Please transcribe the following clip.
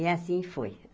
E assim foi.